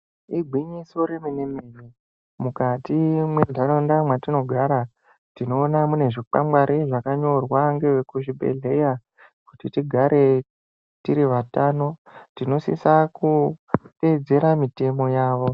Igwinyiso remene mene mukati mwentaraunda tinoona mune zvikwangwari zvakanyorwa nevekuzvi bhedhlera kuti tigare tiri vatano. Tinosisa kutedzera mutemo yavo.